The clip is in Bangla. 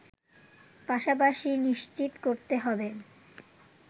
পাশাপাশি নিশ্চিত করতে হবে